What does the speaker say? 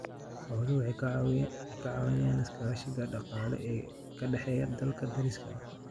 Xooluhu waxay ka caawiyaan iskaashiga dhaqaale ee ka dhexeeya dalalka deriska ah.